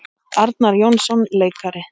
Arnar Jónsson leikari